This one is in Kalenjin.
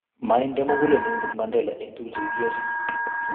Mainde mugulel inendet Mandela eng' tuguk che kikiyochi